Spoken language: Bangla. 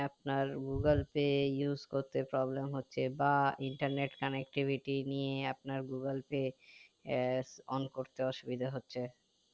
আপনার google pay use করতে problem হচ্ছে বা internet connectivity নিয়ে আপনার google pay আহ one করতে অসুবিধা হচ্ছে